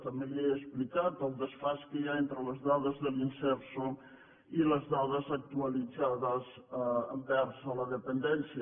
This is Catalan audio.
també li he explicat el desfasament que hi ha entre les dades de l’imserso i les dades actualitzades envers la dependència